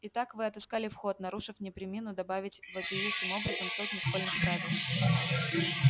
итак вы отыскали вход нарушив не премину добавить вопиющим образом сотню школьных правил